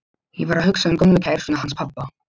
Ég var að hugsa um gömlu kærustuna hans pabba.